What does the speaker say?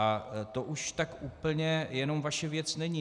A to už tak úplně jenom vaše věc není.